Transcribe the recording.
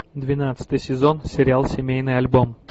двенадцатый сезон сериал семейный альбом